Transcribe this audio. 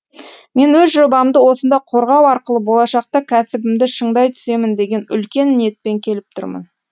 мен өз жобамды осында қорғау арқылы болашақта кәсібімді шыңдай түсемін деген үлкен ниетпен келіп тұрмын